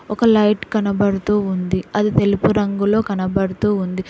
ఒక లైట్ కనబడుతూ ఉంది అది తెలుపు రంగులో కనబడుతూ ఉంది.